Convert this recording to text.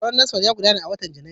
Taron NASFAT ya gudana a watan Janairu.